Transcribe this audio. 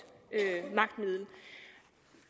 magtmiddel